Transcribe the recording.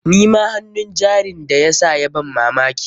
Nima hannun jarin da ya sa ya ban mamaki.